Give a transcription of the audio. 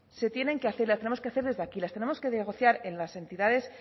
se tienen que hacer y las tenemos que hacer desde aquí las tenemos que negociar en las entidades